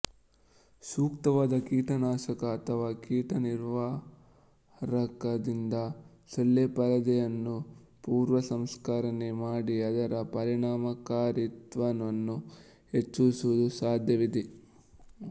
ಸೂಕ್ತವಾದ ಕೀಟನಾಶಕ ಅಥವಾ ಕೀಟ ನಿವಾರಕದಿಂದ ಸೊಳ್ಳೆಪರದೆಯನ್ನು ಪೂರ್ವಸಂಸ್ಕರಣೆ ಮಾಡಿ ಅದರ ಪರಿಣಾಮಕಾರಿತ್ವವನ್ನು ಹೆಚ್ಚಿಸುವುದು ಸಾಧ್ಯವಿದೆ